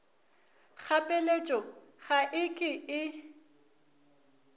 kgapeletšo ga e ke e